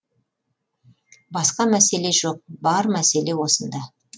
басқа мәселе жоқ бар мәселе осында